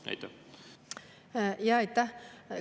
Aitäh!